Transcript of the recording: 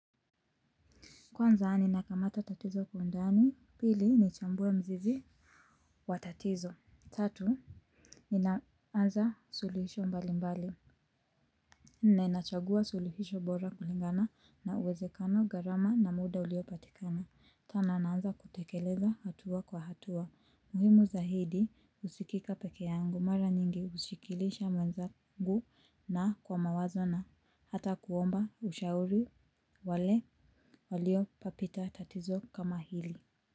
Kwanza ninakamata tatizo kwa ndani pili nichamue mzizi wa tatizo tatu ninaanza sulihisho mbali mbali. Ninachagua suluhisho bora kulingana na uwezekano gharama na muda uliopatikana. Tana naanza kutekeleza hatua kwa hatua. Muhimu zaidi husikika peke yangu mara nyingi husikilisha mwenzangu na kwa mawazo na hata kuomba ushauri wale waliopapita tatizo kama hili.